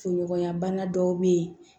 Fonɔgɔnya bana dɔw bɛ yen